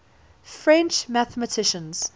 french mathematicians